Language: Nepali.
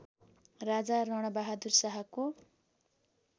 राजा रणबहादुर शाहको